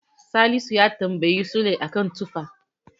Salisu ya tamabyi Sule a kan tufa.